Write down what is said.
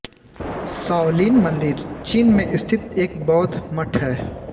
Shaolin मन्दिर चीन में स्थित एक बौद्ध मठ है